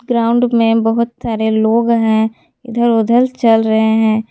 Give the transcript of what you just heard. Ground में बहोत सारे लोग हैं इधर उधर चल रहे हैं।